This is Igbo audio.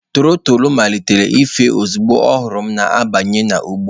Tọrotoro malitere ịfụ ozugbo ọ hụrụ m na-abanye n'ugbo.